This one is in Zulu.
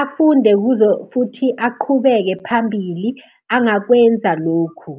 Afunde kuzo futhi aqhubeke phambili, angakwenza lokhu.